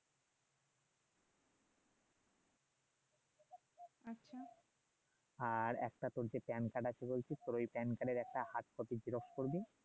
আর একটা তোর যে কার্ড আছে তোর ওই কার্ডের একটা করবি